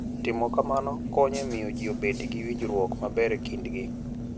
Timo kamano konyo e miyo ji obed gi winjruok maber e kindgi.